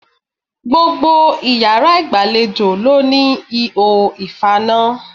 Gbogbo iyàrá ìgbàlejò ló ní ihò ìfaná